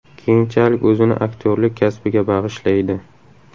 Keyinchalik o‘zini aktyorlik kasbiga bag‘ishlaydi.